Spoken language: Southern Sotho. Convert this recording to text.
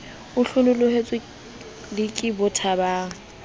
o hlanohetswe le ke bothabang